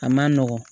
A man nɔgɔn